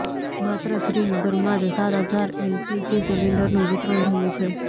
માત્ર શ્રીનગરમાં જ સાત હજાર એલપીજી સિલિન્ડરનું વિતરણ થયું છે